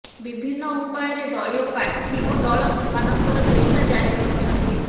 ବିଭିନ୍ନ ଉପାୟରେ ଦଳୀୟ ପ୍ରାର୍ଥୀ ଓ ଦଳ ସେମାନଙ୍କର ଚେଷ୍ଟା ଜାରି ରଖିଛନ୍ତି